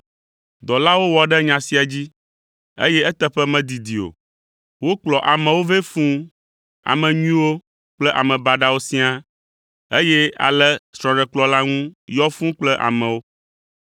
“Dɔlawo wɔ ɖe nya sia dzi, eye eteƒe medidi o, wokplɔ amewo vɛ fũu, ame nyuiwo kple ame baɖawo siaa, eye ale srɔ̃ɖekplɔ̃ la ŋu yɔ fũu kple amewo.